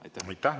Aitäh!